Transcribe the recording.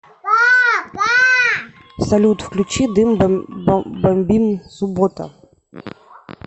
салют включи дым бомбим суббота